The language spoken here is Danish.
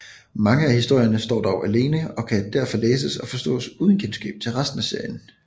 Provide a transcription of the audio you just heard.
Mange af historierne står dog alene og kan derfor læses og forstås uden kendskab til resten af serien